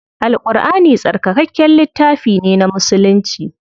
Al Ƙurʼani tsarkakakken littafi ne na musulci.